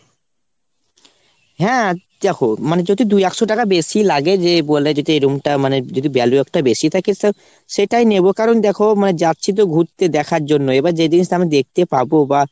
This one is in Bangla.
হ্যাঁ দ্যাখো মানে যদি দুই একশো টাকা বেশি লাগে যে বলে যদি এই room টা মানে যদি value একটা বেশি থাকে তো সেটাই নেবো। কারণ দ্যাখো মানে যাচ্ছি তো ঘুরতে দেখার জন্য। এবার যে জিনিসটা আমি দেখতে পাবো বা